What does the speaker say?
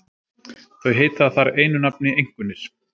Þau heita þar einu nafni einkunnir.